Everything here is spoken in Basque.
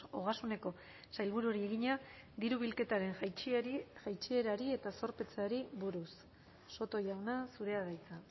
ogasuneko sailburuari egina diru bilketaren jaitsierari eta zorpetzeari buruz soto jauna zurea da hitza